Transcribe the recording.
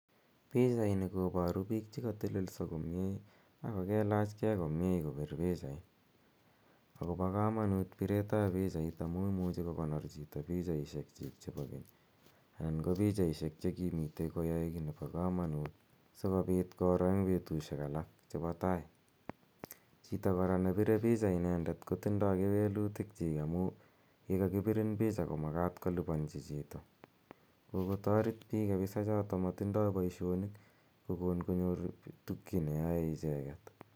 Pichaini koboru bik chekotelelio komie ak kokalach kee komie kobir pichait, akobo komonut biretab pichait amun imuje kokonor chito pichaisiekyik chebo keny anan kopichait chekimiten koyoe kit nebo komonut sikobit koroo en betusiek alak chebo tai, chito koraa nebire picha inendet kotindo kewelutikyik amun yekokibirin pichait komakat koliliponjin chito kokotoret chit nemotindo boisionik kokon konyor tuguk cheyoen icheget.